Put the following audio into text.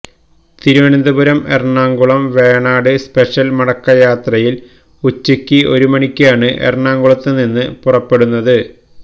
Thiruvananthapuram Ernakulam Venad special മടക്ക യാത്രയിൽ ഉച്ചയ്ക്ക് ഒരു മണിക്കാണ് എറണാകുളത്തു നിന്നു പുറപ്പെടുന്നത്